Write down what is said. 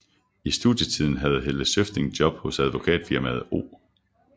I studietiden havde Helle Zøfting job hos advokatfirmaet O